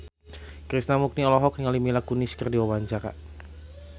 Krishna Mukti olohok ningali Mila Kunis keur diwawancara